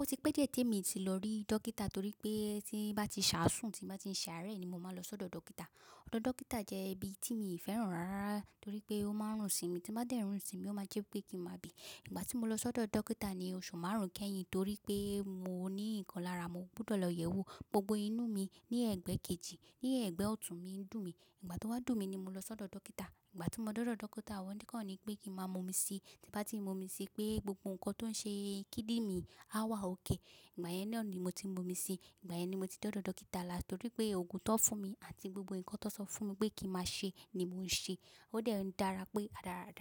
Ó ti pẹ́ díẹ̀ te mi ti lọ rí dókítà torí pé tí bá ti ṣàásùn, tí bá ti ṣàárẹ̀ ni mo máa n lọ sọ́dọ̀ dókítà. Ọ́dọ̀ dókítà jẹ́ ibi tíi i fẹ́ràn rárárara torí pé ó máa ń rùn sí mi. Tí n bá dẹ̀rùn sí mi, ó máa jẹ́ pé kí máa bì. Ìgbà tí mo lọ sọ́dọ̀ dókítà ni oṣù márùn-ún kẹ́yìn torí pé mo ní nkanlàrà, mo gbudọ̀ lọ yẹ̀ ẹ́ wò. Gbogbo inú mi ní ẹ̀gbẹ́ kejì, ní ẹ̀gbẹ́ ọ̀tún mi ń dùn mí. Ìgbà tó n wá dùn mí ni mo lọ sọ́dọ̀ dókítà. Ìgbà tí mo dodọ̀ dókítà, wọ́n kọ́ ni pé kí máa mú omi sí. Tí bá ti momi sí pé gbogbo nǹkan tó ń ṣe kídirin á wà ókè. Ìgbà yẹn na ni mo ti n momi sí. Ìgbà yẹn ni mo ti dọ́dọ̀ dókítà làst torí pé òògùn tón fún mi àti gbogbo nǹkan tó sọ fún mi pé kí máa ṣe ni mò ń ṣe. Ó dẹ̀ ń dára pé